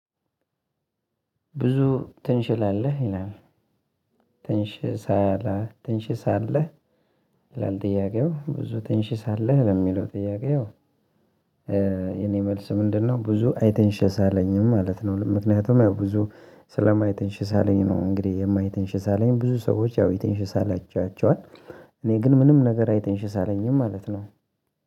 "ብዙ ትንሽላለህ?" ይላል፣ ትንሽሳለህ ትንሽሳለህ ይላል ጥያቄው ብዙ ትንሽሳለህ ለሚለው ጥያቄ፣ የኔ መልስ ምንድነው ብዙ አይተንሽሳለኝም ማለት ነው። ምክንያቱም ያው ብዙ ስለማይተንሽሳለኝ ነው እንግዲህ የማይተንሽሳለኝ ብዙ ሰዎች ያው የተንሽሳለቻቸዋል እኔ ግን ምንም ነገር አይተንሽሳለኝም ማለት ነው።